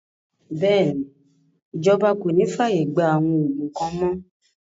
Bẹ́ẹ̀ni, Ìjọba kòní fi ààyè gbà àwọn òògùn kan mọ́